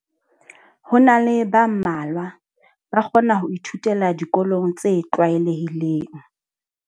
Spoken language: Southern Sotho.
Ho na le ba mmalwa ba kgona ho ithutela dikolong tse tlwaelehileng.